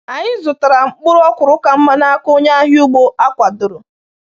Anyị zụtara mkpụrụ ọkwụrụ ka mma n’aka onye ahịa ugbo e kwadoro.